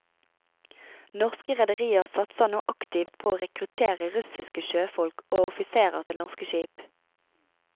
Norske rederier satser nå aktivt på å rekruttere russiske sjøfolk og offiserer til norske skip.